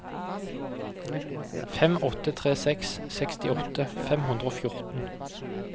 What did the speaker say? fem åtte tre seks sekstiåtte fem hundre og fjorten